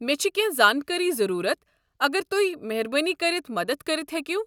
مےٚ چھِ کٮ۪نٛہہ زٲنٛکٲرِی ضروٗرَت اگر تۄہہِ مہربٲنی كٔرِتھ مدتھ کٔرِتھ ہیٚکِو۔